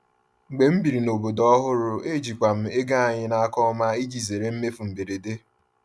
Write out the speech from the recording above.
Mgbe m biri n’obodo ọhụrụ, ejikwa m ego anyị n’aka ọma iji zere mmefu mberede.